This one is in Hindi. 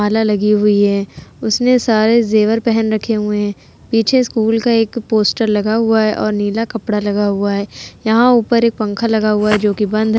माला लगी हुई है। उसने सारे जेवर पहन रखे हुए है। पीछे स्कूल का एक पोस्टर लगा हुआ है और नीला कपड़ा लगा हुआ है। यहाँ ऊपर एक पंखा लगा हुआ है जो कि बंद --